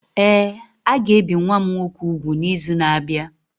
Ee, a ga-ebi nwa m nwoke úgwù n'izu na-abịa.